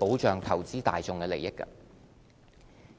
保障投資大眾的利益。